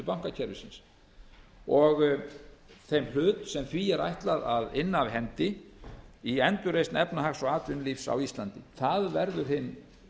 bankakerfisins og þeim hlut sem því er ætlað að inna af hendi í endurreisn efnahags og atvinnulífs á íslandi það verður hinn